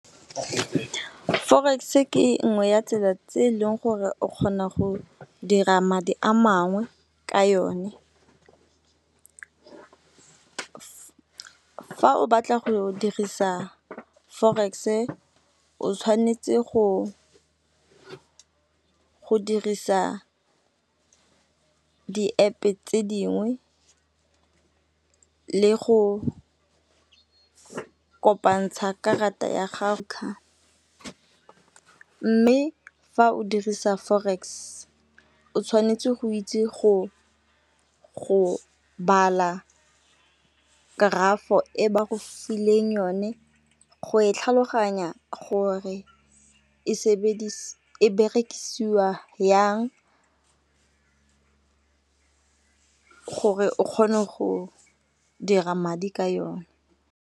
Forex-e ke nngwe ya tsela tse eleng gore o kgona go dira madi a mangwe ka yone. Fa o batla go dirisa forex-e o tshwanetse go dirisa di-App-e tse dingwe le go kopantsha karata ya gago . Mme fa o dirisa forex o tshwanetse go itse go bala graph-o e ba go fileng yone go e tlhaloganya gore e berekisiwa yang gore o kgone go dira madi ka yone.